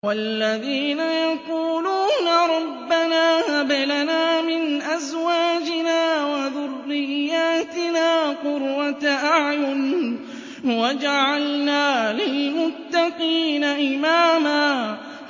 وَالَّذِينَ يَقُولُونَ رَبَّنَا هَبْ لَنَا مِنْ أَزْوَاجِنَا وَذُرِّيَّاتِنَا قُرَّةَ أَعْيُنٍ وَاجْعَلْنَا لِلْمُتَّقِينَ إِمَامًا